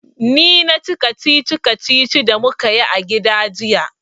Ni na ci kacici-kacicin da mu ka yi a gida jiya.